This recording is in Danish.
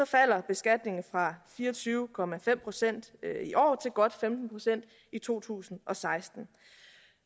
falder beskatningen fra fire og tyve procent i år til godt femten procent i to tusind og seksten